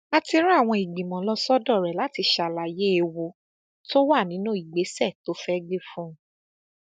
a ti rán àwọn ìgbìmọ lọ sọdọ rẹ láti ṣàlàyé ewu tó wà nínú ìgbésẹ tó fẹẹ gbé fún un